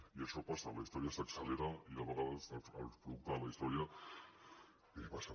i això passa la història s’accelera i a vegades el producte de la història passa